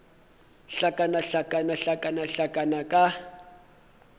hlakana hlakana hlakana hlakana ka